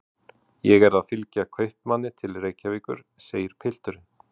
Ég er að fylgja kaupmanni til Reykjavíkur, segir pilturinn.